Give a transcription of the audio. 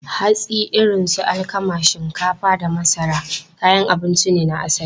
Hatsi irin su alkama, shinkafa, da masara kayan abinci ne na asali.